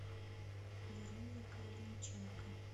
веруней калиниченко